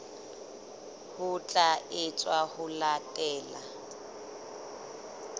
ho tla etswa ho latela